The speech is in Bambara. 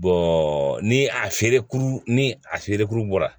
ni a feere ni a feerekuru bɔra